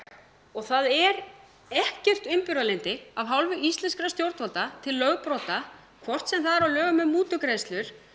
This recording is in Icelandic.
og það er ekkert umburðarlyndi af hálfu íslenskra stjórnvalda til lögbrota hvort sem það er á lögum um mútugreiðslur